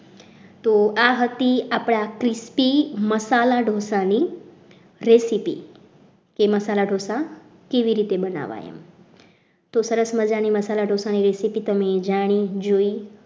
તો આ હતી આપણી crispy મસાલા ઢોસા બનાવવાની recepi જે મસાલા ઢોસા કેવી રીતે બનાવાય તો સરસ મજાના મસાલા ઢોસા ની રીત તમે જાણી જોઈ